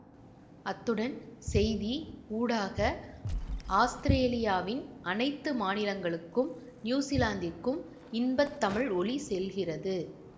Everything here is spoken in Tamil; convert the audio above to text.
அத்துடன் செய்தி ஊடாக அஸ்திரேலியாவின் அனைத்து மாநிலங்களுக்கும் நியூசிலாந்துக்கும் இன்பத்தமிழ் ஒலி செல்கிறது